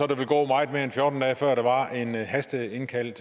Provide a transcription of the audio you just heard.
der ville gå meget mere end fjorten dage før der var en hasteindkaldt